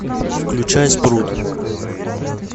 включай спрут